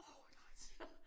Åh nej altså!